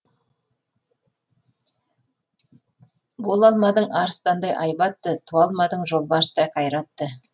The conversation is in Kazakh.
бола алмадың арыстандай айбатты туа алмадың жолбарыстай қайратты